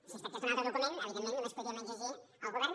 si es tractés d’un altre document evidentment només ho podríem exigir al govern